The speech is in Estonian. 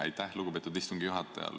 Aitäh, lugupeetud istungi juhataja!